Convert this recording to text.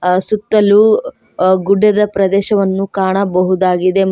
ಆ ಸುತ್ತಲು ಆ ಗುಡ್ಡದ ಪ್ರದೇಶವನ್ನು ಕಾಣಬಹುದಾಗಿದೆ ಮ--